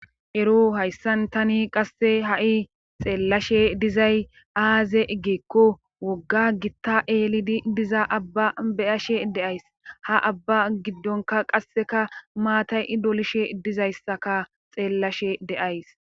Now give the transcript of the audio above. Ero hayssan tani qasse ha'i xeellashe dizay aaze eggeekko wogga gitta eeli diza abba beyashe deays ha abba giddonka qasseka maatay i dolishe dizayssaka xeellashe de7ays.